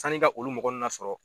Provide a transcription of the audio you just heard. Sann'i ka olu mɔgɔ nun nasɔrɔ